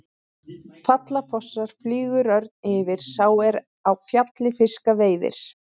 Falla fossar, flýgur örn yfir, sá er á fjalli fiska veiðir.